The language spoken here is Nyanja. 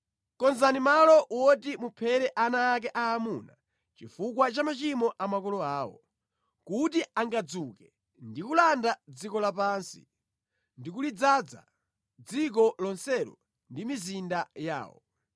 Konzani malo woti muphere ana ake aamuna chifukwa cha machimo a makolo awo; kuti angadzuke ndi kulanda dziko lapansi ndi kulidzaza dziko lonselo ndi mizinda yawo.